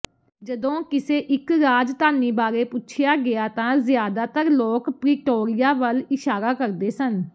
ਜਦੋਂ ਕਿਸੇ ਇਕ ਰਾਜਧਾਨੀ ਬਾਰੇ ਪੁੱਛਿਆ ਗਿਆ ਤਾਂ ਜ਼ਿਆਦਾਤਰ ਲੋਕ ਪ੍ਰਿਟੋਰੀਆ ਵੱਲ ਇਸ਼ਾਰਾ ਕਰਦੇ ਸਨ